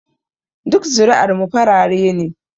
Duk zuri'ar mu farare ne